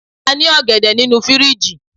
a ni ògèdè ninu firiji